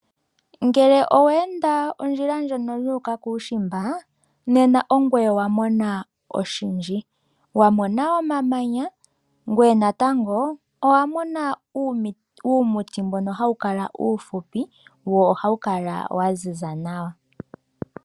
Ngele owe enda ondjila ndjoka yu uka kuushimba, nena ongoye wa mona oshindji. Wa mona omamanya ngoye natango owa mona uumuti mboka hawu kala uufupi wo ohawu kala wa ziza nawa.